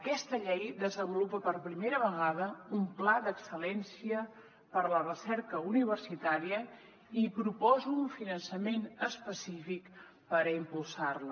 aquesta llei desenvolupa per primera vegada un pla d’excel·lència per a la recerca universitària i proposa un finançament específic per impulsar la